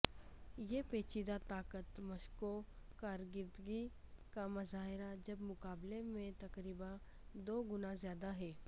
یہ پیچیدہ طاقت مشقوں کارکردگی کا مظاہرہ جب مقابلے میں تقریبا دو گنا زیادہ ہے